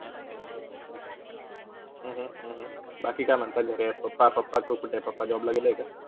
अह अह बाकी काय म्हण्तात घरात? papa, papa, papa कुठे आहेत? papajob ला गेले का?